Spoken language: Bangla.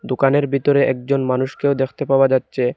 দোকানের বিতরে একজন মানুষকেও দেখতে পাওয়া যাচ্চে।